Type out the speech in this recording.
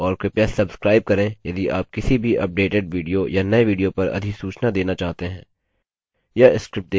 और कृपया सब्स्क्राइब करें यदि आप किसी भी अपडेटेड विडियो या नये विडियो पर अधिसूचना देना चाहते हैं